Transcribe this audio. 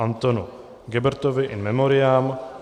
Antonu Gebertovi in memoriam